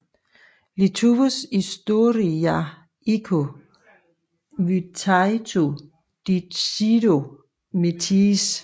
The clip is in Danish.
Lietuvos istorija iki Vytauto Didžiojo mirties